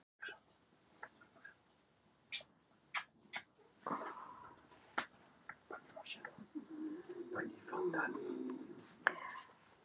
þetta voru kröftug dýr svipuð að stærð og jagúar